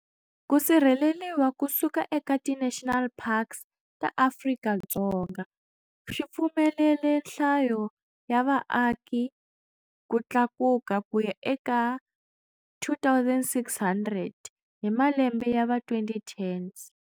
Ku sirheleriwa kusuka eka ti National Parks ta Afrika-Dzonga swipfumelele nhlayo ya vaaki ku tlakuka kuya eka 2,600 hi malembe yava 2010s.